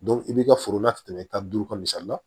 i b'i ka foro la ka tɛmɛ tan ni duuru kan misali la